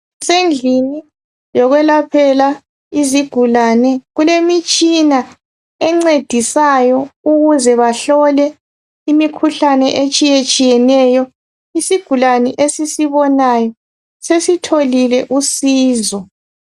Kusendlini yokwelaphela iziguli, kulemitshina encedisayo ukuze bahlole imikhuhlane etshiyetshiyeneyo, isiguli esisibonayo sesitholile usizo .